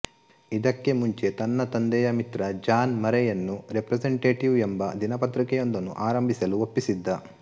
ಇದಕ್ಕೆ ಮುಂಚೆ ತನ್ನ ತಂದೆಯ ಮಿತ್ರ ಜಾನ್ ಮರೆಯನ್ನು ರೆಪ್ರೆಸೆಂಟೆಟಿವ್ ಎಂಬ ದಿನಪತ್ರಿಕೆಯೊಂದನ್ನು ಆರಂಭಿಸಲು ಒಪ್ಪಿಸಿದ್ದ